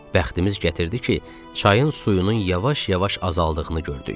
Bəxtimiz gətirdi ki, çayın suyunun yavaş-yavaş azaldığını gördük.